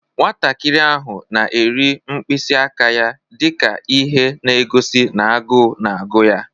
Nwatakịrị ahụ na-eri mkpịsị aka ya dị ka ihe na-egosi na agụụ na-agụ ya.